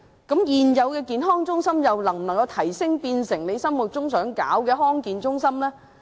現有的社區健康中心又能否提升至政府想成立的地區康健中心呢？